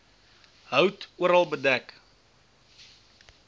hout oral bedek